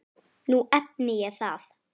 Nú efni ég það.